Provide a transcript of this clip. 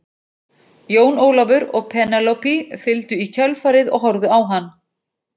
Jón Ólafur og Penélope fylgdu í kjölfarið og horfðu á hann.